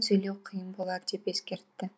сөйлеу қиын болар деп ескертті